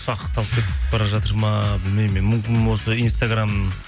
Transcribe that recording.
ұсақталып кетіп бара жатыр ма білмеймін мен мүмкін осы инстаграм